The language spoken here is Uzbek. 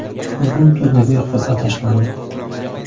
Bugun turnirga qur’a tashlandi.